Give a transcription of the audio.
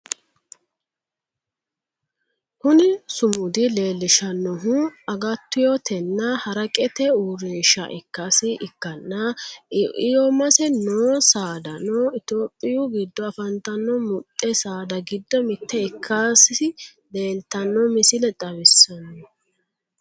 Kuni sumudu leellishshannohu agatyotenna haraqete uurrinsha ikkasi ikkanna iomasi noo saadano itiyophiyu giddo afantanno muxde saada giddo mitte ikkasi leeltanno misile xawissanno.